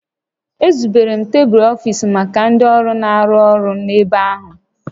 Ezubere tebulu ọfiisi maka ndị ọrụ na-arụ ọrụ n'ebe ahụ